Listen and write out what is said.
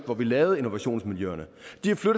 hvor vi lavede innovationsmiljøerne